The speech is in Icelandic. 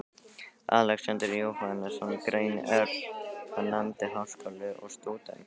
Alexander Jóhannesson grein, er hann nefndi Háskóli og Stúdentagarður.